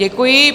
Děkuji.